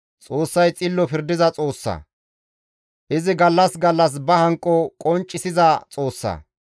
Xoossay xillo pirdiza Xoossa; izi gallas gallas ba hanqo qonccisiza Xoossa.